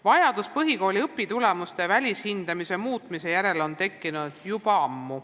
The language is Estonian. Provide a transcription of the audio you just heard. Vajadus põhikooli õpitulemuste välishindamise muutmise järele tekkis juba ammu.